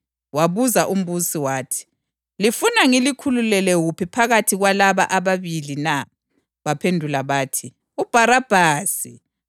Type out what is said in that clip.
Wabuza umbusi wathi, “Lifuna ngilikhululele wuphi phakathi kwalaba ababili na?” Baphendula bathi, “UBharabhasi.”